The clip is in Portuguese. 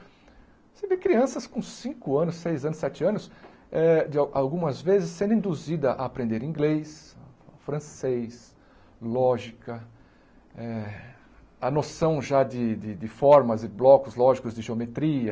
Você vê crianças com cinco anos, seis anos, sete anos, eh de algumas vezes sendo induzidas a aprender inglês, francês, lógica, eh a noção já de de formas e blocos lógicos de geometria,